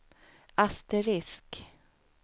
asterisk